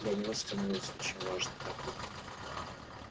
для него становилось очень важно так думать